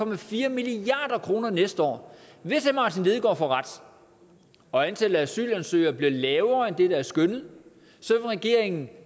milliard kroner næste år hvis herre martin lidegaard får ret og antallet af asylansøgere bliver lavere end det der er skønnet vil regeringen